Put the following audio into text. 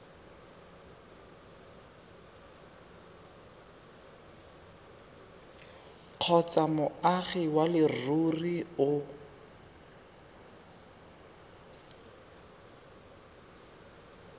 kgotsa moagi wa leruri o